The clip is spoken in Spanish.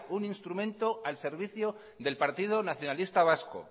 un instrumento al servicio del partido nacionalista vasco